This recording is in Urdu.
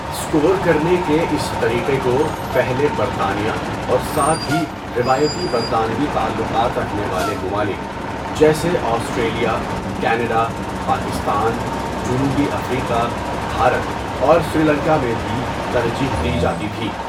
اسکور کرنے کے اس طریقے کو پہلے برطانیہ اور ساتھ ہی روایتی برطانوی تعلقات رکھنے والے ممالک، جیسے آسٹریلیا، کینیڈا، پاکستان، جنوبی افریقہ، بھارت اور سری لنکا میں بھی ترجیح دی جاتی تھی۔